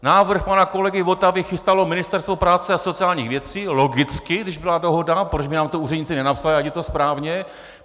Návrh pana kolegy Votavy chystalo Ministerstvo práce a sociálních věcí - logicky, když byla dohoda, proč by nám to úředníci nenapsali, ať je to správně.